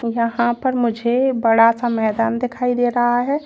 यहां पर मुझे बड़ा सा मैदान दिखाई दे रहा है।